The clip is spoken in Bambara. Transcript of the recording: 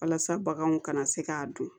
Walasa baganw kana se k'a dun